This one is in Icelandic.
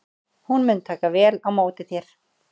Hún mun taka vel á móti þér.